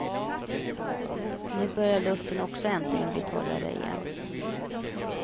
Nu börjar luften också äntligen bli torrare igen.